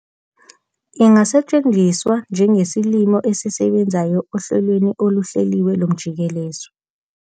Ingasetshenziswa njengesilimo esisebenzayo ehlelweni oluhleliwe lomjikeleziso.